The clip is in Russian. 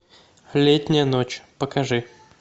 летняя ночь покажи